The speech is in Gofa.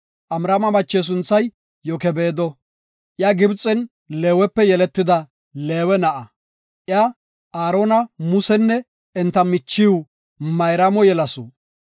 Amraama mache sunthay Yokebeedo; iya Gibxen Leewepe yeletida Leewe na7a. Iya Aarona, Musenne enta michiw Mayraamo yelasu.